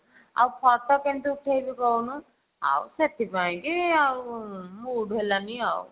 ଆଉ photo କେମିତି ଉଠେଇବି କହୁନୁ ଆଉ ସେଥିପାଇଁ କି ଆଉ mood ହେଲାନି ଆଉ